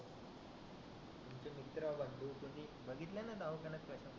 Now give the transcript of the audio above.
विचारा तुम्ही दवाखान्यात कधी.